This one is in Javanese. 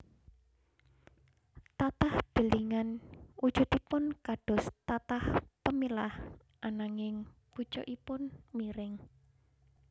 Tatah delingan wujudipun kados tatah pemilah ananging pucukipun miring